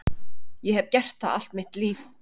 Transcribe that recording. Ég hef gert það allt mitt líf.